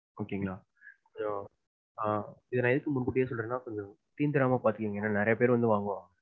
Okay ங்களை. அஹ் இத நான் ஏன் முன்கூட்டியே சொல்றேன்னா தீந்துராம பாத்துக்கோங்க ஏன்னா நிறையா பேர் வந்து வாங்குவாங்க.